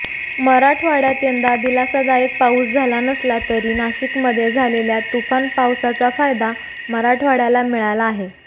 मराठवाड्यात यंदा दिलासादायक पाऊस झाला नसला तरी नाशिकमध्ये झालेल्या तुफान पावसाचा फायदा मराठवाड्याला मिळाला आहे